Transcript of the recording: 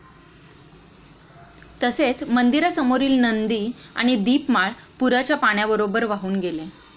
तसेच मंदिरासमोरील नंदी आणि दीपमाळ पूराच्या पाण्याबरोबर वाहून गेले.